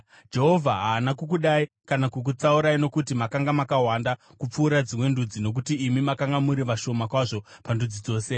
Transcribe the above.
Jehovha haana kukudai kana kukutsaurai nokuti makanga makawanda kupfuura dzimwe ndudzi nokuti imi makanga muri vashoma kwazvo pandudzi dzose.